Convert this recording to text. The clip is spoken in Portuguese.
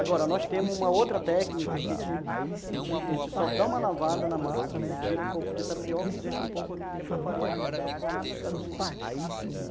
Agora, nós temos uma outra técnica que a gente a gente a gente só dá uma lavada na massa, né, tira um pouco de tapioca e deixa um pouco aqui que é para farinha para poder formar esses carocinhos, é.